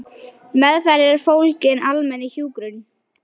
Meðferð er fólgin í almennri hjúkrun.